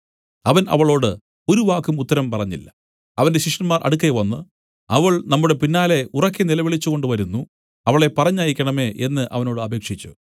അവൻ അവളോട് ഒരു വാക്കും ഉത്തരം പറഞ്ഞില്ല അവന്റെ ശിഷ്യന്മാർ അടുക്കെ വന്നു അവൾ നമ്മുടെ പിന്നാലെ ഉറക്കെ നിലവിളിച്ചുകൊണ്ട് വരുന്നു അവളെ പറഞ്ഞയക്കേണമേ എന്നു അവനോട് അപേക്ഷിച്ചു